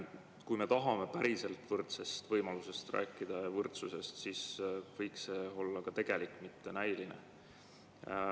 Kui me tahame rääkida päriselt võrdsetest võimalustest ja võrdsusest, siis võiks see olla tegelik, mitte näiline.